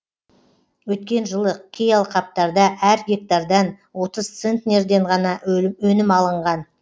өткен жылы кей алқаптарда әр гектардан отыз центнерінен ғана өнім алынған